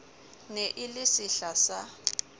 ne e le sehla sa